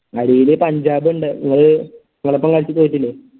അടിയില് പഞ്ചാബ്ണ്ട് ഇങ്ങള് ഓലൊപ്പം കളിച്ചു തോറ്റില്ലെ